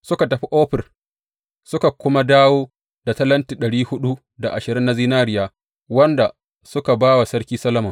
Suka tafi Ofir suka kuma dawo da talenti na zinariya, wanda suka ba wa Sarki Solomon.